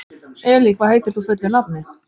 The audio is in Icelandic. Elí, hvað heitir þú fullu nafni?